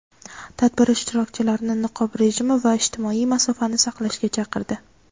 tadbir ishtirokchilarini niqob rejimi va ijtimoiy masofani saqlashga chaqirdi.